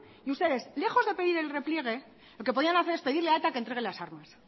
y ustedes lejos de pedir el repliegue lo que podían hacer es pedirle a eta que entregue las armas